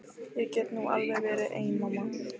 Ég get nú alveg verið ein mamma.